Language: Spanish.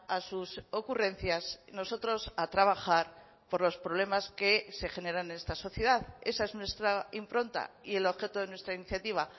a sus ocurrencias nosotros a trabajar por los problemas que se generan en esta sociedad esa es nuestra impronta y el objeto de nuestra iniciativa